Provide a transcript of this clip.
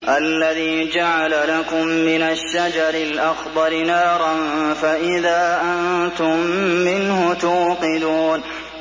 الَّذِي جَعَلَ لَكُم مِّنَ الشَّجَرِ الْأَخْضَرِ نَارًا فَإِذَا أَنتُم مِّنْهُ تُوقِدُونَ